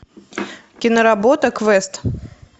киноработа квест